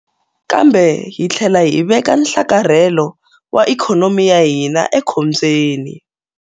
Kambe hi tlhela hi veka nhlakarhelo wa ikhonomi ya hina ekhombyeni.